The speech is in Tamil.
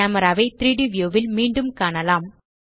கேமரா ஐ 3ட் வியூ ல் மீண்டும் காணலாம்